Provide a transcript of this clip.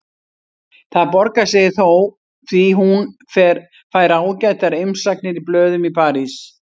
Það borgar sig þó því hún fær ágætar umsagnir í blöðum í París.